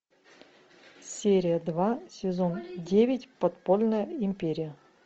серия два сезон девять подпольная империя